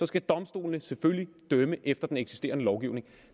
skal domstolene selvfølgelig dømme efter den eksisterende lovgivning